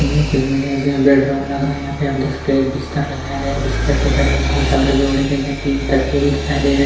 यह कोई यहाँ बेडरूम लग रहा है यहाँ पर आप देख सकते है यहाँ पर एक बिस्तर लगाये गए है बिस्तर के उपर एक लाल चादर भी ओढ़ी गई है तीन तकिये भी दिखाई दे रहे है।